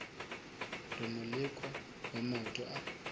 re moleko wa maoto a